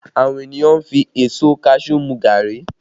Àwọn ènìyàn fi èso kaṣuú mu gàárì